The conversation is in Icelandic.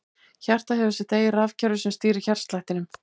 Hjartað hefur sitt eigið rafkerfi sem stýrir hjartslættinum.